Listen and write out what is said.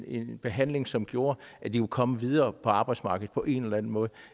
en behandling som gjorde at de kunne komme videre på arbejdsmarkedet på en eller anden måde